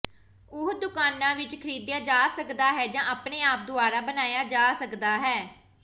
ਉਹ ਦੁਕਾਨਾਂ ਵਿੱਚ ਖਰੀਦਿਆ ਜਾ ਸਕਦਾ ਹੈ ਜਾਂ ਆਪਣੇ ਆਪ ਦੁਆਰਾ ਬਣਾਇਆ ਜਾ ਸਕਦਾ ਹੈ